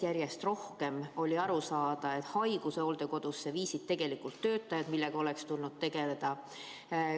Järjest rohkem oli aru saada, et haiguse viisid hooldekodusse tegelikult töötajad, ja sellega oleks tulnud tegeleda.